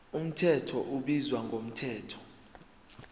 mthetho ubizwa ngomthetho